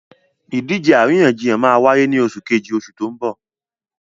Ìdíje àríyànjiyàn máa wáyé ní oṣù Kejì oṣù tó n bò